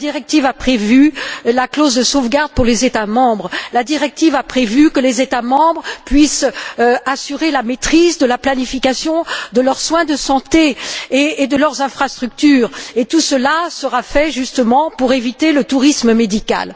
La directive a prévu la clause de sauvegarde pour les États membres, la directive a prévu que les États membres puissent assurer la maîtrise de la planification de leurs soins de santé et de leurs infrastructures et tout cela sera fait justement pour éviter le tourisme médical.